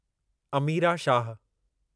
Amira Shah